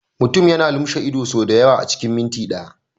Mutum yana lumshe ido sau da yawa a cikin minti ɗaya.